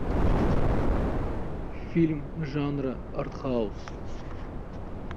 фильм жанра артхаус